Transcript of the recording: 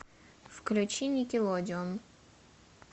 включи никелодеон